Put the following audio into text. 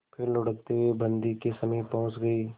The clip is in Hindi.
फिर लुढ़कते हुए बन्दी के समीप पहुंच गई